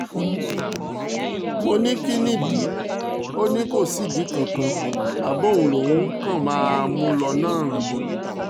mo ní kín ni ìdí ò ò ní kò sí ìdí kankan bàbá òun lòún kàn máa mú lò náà ni